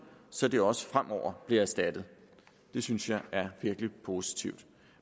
så det også fremover bliver erstattet det synes jeg er virkelig positivt